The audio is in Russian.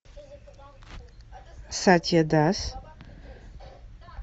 сатья дас